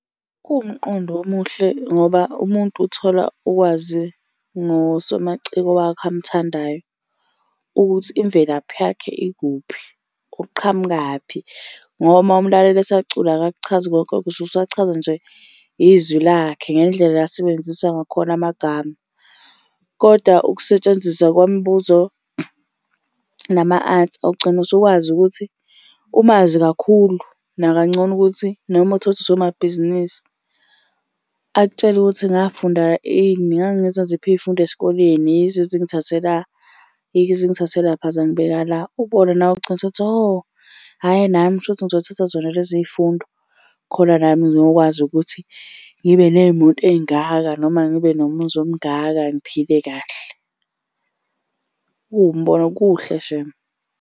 Kuwumqondo omuhle ngoba umuntu uthola ukwazi ngosomaciko wakhe amuthandayo, ukuthi imvelaphi yakhe ikuphi. Uqhamukaphi ngoba uma umulalela esacula akakuchazi konke lokho, usuke usachazwa nje izwi lakhe ngendlela asebenzisa ngakhona amagama, koda ukusetshenziswa kwambuzo nama-answer ugcina usukwazi ukuthi umazi kakhulu, nakangcono ukuthi noma uthole ukuthi usomabhizinisi. Akutshele ukuthi ngafunda ini, ngangenza ziphi iy'fundo esikoleni yizo ezingithathe la, yizo ezingithathe lapha zangibeka la. Ubone nawe ugcine usuthi hho, hhayi nami kushuthi ngizothatha zona leziy'fundo khona nami ngiyokwazi ukuthi ngibe ney'moto ey'ngaka noma ngibe nomuzi omungaka ngiphile kahle. Kuwumbono, kuhle shame.